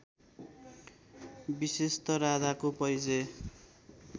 विशेषत राधाको परिचय